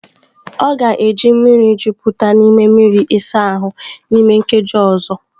Ọ ga-eji mmiri jupụta n'ime mmiri ịsa ahụ n'ime nkeji ọzọ.